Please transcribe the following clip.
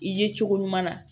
I ye cogo ɲuman na